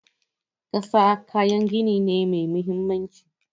Ƙasa kayan gini ne mai mahimmanci.